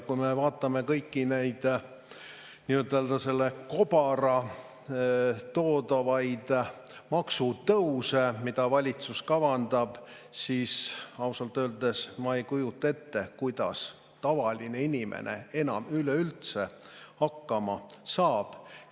Kui me vaatame kõiki selle nii-öelda kobara toodavaid maksutõuse, mida valitsus kavandab, siis ausalt öeldes ma ei kujuta ette, kuidas tavaline inimene enam üleüldse hakkama saab.